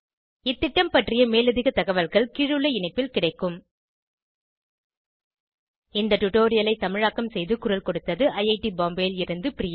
இந்த திட்டம் பற்றிய மேலதிக தகவல்கள் கீழுள்ள இணைப்பில் கிடைக்கும் இந்த டுடோரியலை தமிழாக்கம் செய்து குரல் கொடுத்தது ஐஐடி பாம்பேவில் இருந்து பிரியா